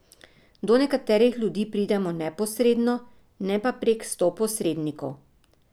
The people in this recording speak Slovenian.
Do nekaterih ljudi pridemo neposredno, ne pa prek sto posrednikov.